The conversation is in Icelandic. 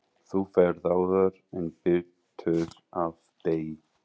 Þú ferð áður en birtir af degi.